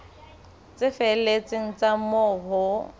tse felletseng tsa moo ho